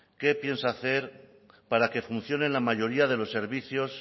qué piensa hacer para que funcionen la mayoría de los servicios